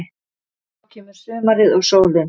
Þá kemur sumarið og sólin.